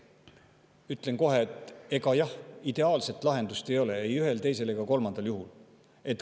Ütlen kohe, et ideaalset lahendust ei ole ei ühel, teisel ega kolmandal juhul.